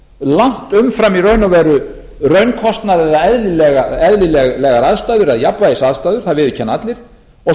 langt umfram í raun og veru raunkostnað eða eðlilegar aðstæður eða jafnvægisaðstæður það viðurkenna allir og